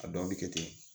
A dɔw bɛ kɛ ten